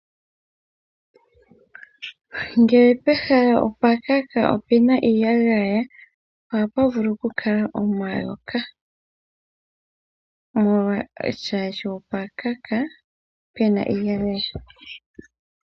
Ngele pehala opwakaka, nenge pena iiyagaya ohapu vulu okukala omayoka. Molwaashoka opwa kaka, puna iiyagaya.